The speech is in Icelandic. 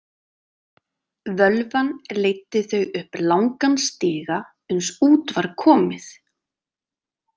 Völvan leiddi þau upp langan stiga uns út var komið.